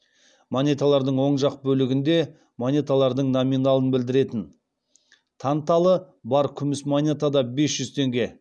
монеталардың оң жақ бөлігінде монеталардың номиналын білдіретін танталы бар күміс монетада бес жүз теңге